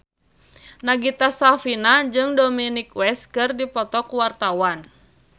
Nagita Slavina jeung Dominic West keur dipoto ku wartawan